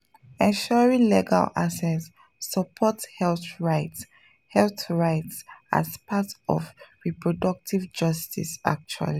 ensuring legal access supports health rights health rights as part of reproductive justice actually